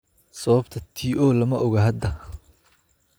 Sababta TO lama oga hadda.